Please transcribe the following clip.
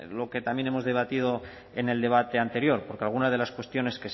lo que también hemos debatido en el debate anterior porque algunas de las cuestiones